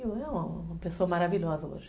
É uma pessoa maravilhosa hoje.